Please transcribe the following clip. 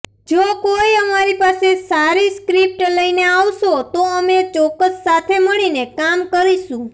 જો કોઈ અમારી પાસે સારી સ્ક્રિપ્ટ લઈને આવશો તો અમે ચોક્કસ સાથે મળીને કામ કરીશું